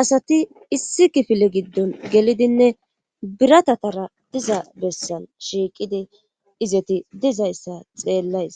asati issi kifile giddon gelidinne biratatara diza bessan shiiqidi izoti dizayssa xeellays